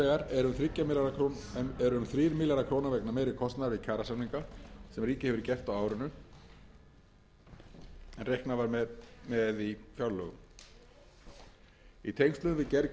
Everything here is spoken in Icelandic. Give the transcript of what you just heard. eru um þrír milljarðar króna vegna meiri kostnaðar við kjarasamninga sem ríkið hefur gert á árinu en reiknað var með í fjárlögum í tengslum við gerð